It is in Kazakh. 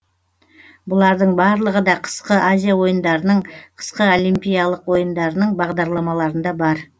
бұлардың барлығы да қысқы азия ойындарының қысқы олимпиялық ойындарының бағдарламаларында бар